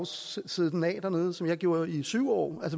sidde den af dernede som jeg gjorde i syv år